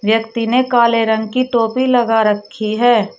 व्यक्ती ने काले रंग की टोपी लगा रखी है।